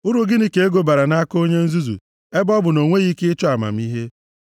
Uru gịnị ka ego bara nʼaka onye nzuzu; ebe ọ bụ na o nweghị ike ịchọ amamihe.